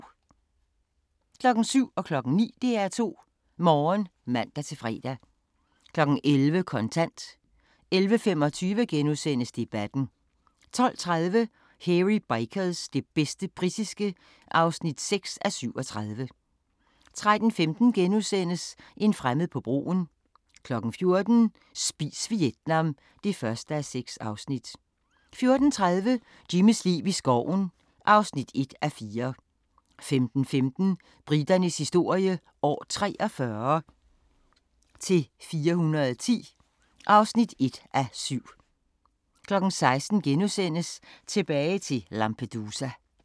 07:00: DR2 Morgen (man-fre) 09:00: DR2 Morgen (man-fre) 11:00: Kontant 11:25: Debatten * 12:30: Hairy Bikers – det bedste britiske (6:37) 13:15: En fremmed på broen * 14:00: Spis Vietnam (1:6) 14:30: Jimmys liv i skoven (1:4) 15:15: Briternes historie – år 43 – 410 (1:7) 16:00: Tilbage til Lampedusa *